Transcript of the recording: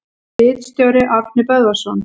Ritstjóri: Árni Böðvarsson.